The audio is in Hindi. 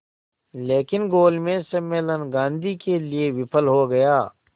लेकिन गोलमेज सम्मेलन गांधी के लिए विफल हो गया